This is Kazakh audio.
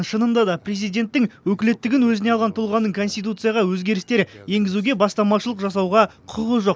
шынында да президенттің өкілеттігін өзіне алған тұлғаның конституцияға өзгерістер енгізуге бастамашылық жасауға құқығы жоқ